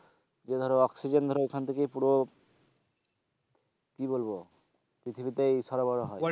যে ধরো oxygen ধরো ওখান থেকেই পুরো কি বলবো পৃথিবীতেই সরবরাহ হয়।